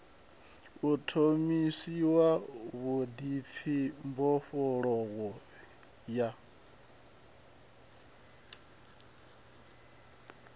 u ṱhonifhiwa vhuḓipfi mbofholowo ya